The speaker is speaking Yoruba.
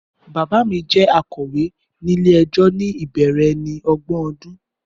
Bàbá mi jẹ́ akọ̀wé nílé ẹjọ́ ní ìbẹ̀rẹ̀ ẹni ọgbọ̀n ọdún